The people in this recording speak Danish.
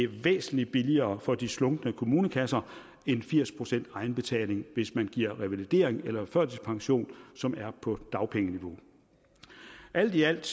væsentlig billigere for de slunkne kommunekasser end firs procent egenbetaling hvis man giver revalidering eller førtidspension som er på dagpengeniveau alt i alt